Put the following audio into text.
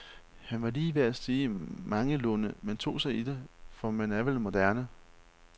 Han var lige ved at sige mangelunde, men tog sig i det, for man er vel moderne.